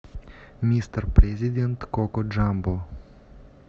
мистер президент коко джамбо